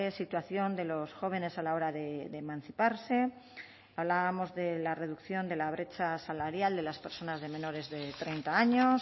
situación de los jóvenes a la hora de emanciparse hablábamos de la reducción de la brecha salarial de las personas de menores de treinta años